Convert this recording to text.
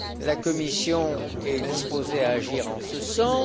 La Commission est disposée à agir dans ce